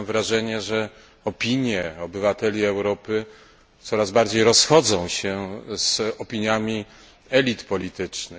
Mam wrażenie, że opinie obywateli Europy coraz bardziej rozchodzą się z opiniami elit politycznych.